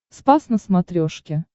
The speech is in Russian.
спас на смотрешке